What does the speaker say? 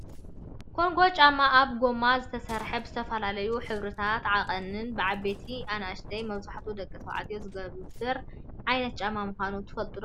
ኮንጎ ጫማ ካብ ጎማ ዝተሰረሓ ብዝተፈላለዩ ሕብርታትን ዓቀንን ብዓበይትን አናእሽተይን መብዛሕቱኡ ደቂ ተባዕትዮ ዝግበር ዓይነት ጫማ ምኳኑ ትፈልጡ ዶ ?